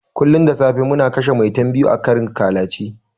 Kullun da safe muna kashe 'Maitan' biyu a karin ƙalace.